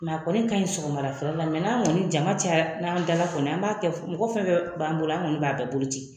a kɔni ka ɲi sɔgɔma dafɛla la n'an kɔni jama caya n'an dala kɔni an b'a kɛ mɔgɔ fɛn fɛn b'an bolo an kɔni b'a bɛɛ bolo ci.